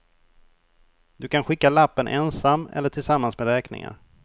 Du kan skicka lappen ensam eller tillsammans med räkningar.